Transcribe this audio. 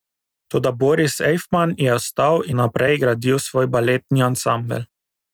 Toda Boris Ejfman je ostal in naprej gradil svoj baletni ansambel.